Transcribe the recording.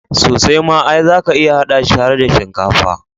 Sosai ma, ai zaka iya haɗa shi har da shinkafa.